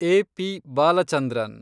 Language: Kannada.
ಎ. ಪಿ. ಬಾಲಚಂದ್ರನ್